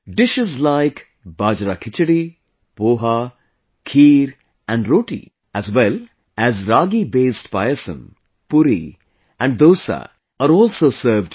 Dishes like Bajrakhichdi, poha, kheer and roti, as well as Ragibased payasam, puri and dosa are also served here